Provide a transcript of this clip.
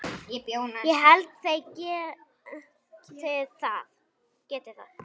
Ég held þeir geti það.